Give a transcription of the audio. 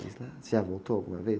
Você já voltou alguma vez?